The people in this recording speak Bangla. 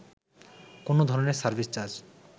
কোন ধরনের সার্ভিস চার্জ